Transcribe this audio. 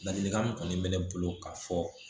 Ladilikan min kɔni bɛ ne bolo k'a fɔ